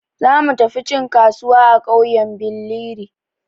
Za mu tafi cin kasuwa a ƙauyen Billiri.